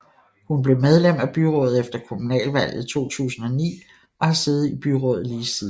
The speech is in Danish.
Hun blev medlem af byrådet efter kommunalvalget 2009 og har siddet i byrådet lige siden